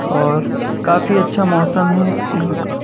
और काफी अच्छा मौसम है यहाँ का।